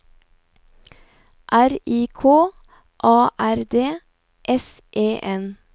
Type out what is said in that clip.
R I K A R D S E N